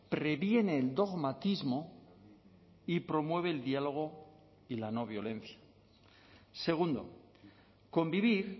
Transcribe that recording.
previene el dogmatismo y promueve el diálogo y la no violencia segundo convivir